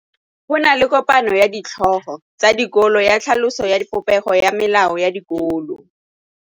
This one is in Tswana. Go na le kopanô ya ditlhogo tsa dikolo ya tlhaloso ya popêgô ya melao ya dikolo.